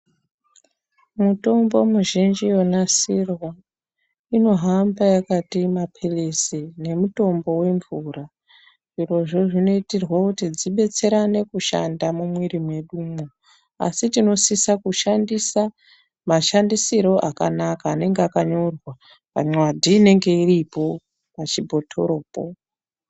Mitombo mi zhinji yonasirwa ino hamba yakati mapilizi ne mutombo we mvura zvirozvo zvino itirwa kuti dzibetserane kushanda mu mwiri mwedumwo asi tinosisa kushandisa ma shandisiro akanaka anenge aka nyorwa pa nyadhi inenge iripo pa chibhotoro po.